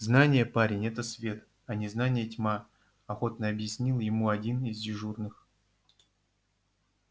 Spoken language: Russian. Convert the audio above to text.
знание парень это свет а незнание тьма охотно объяснил ему один из дежурных